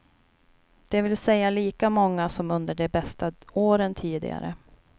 Det vill säga lika många som under de bästa åren tidigare.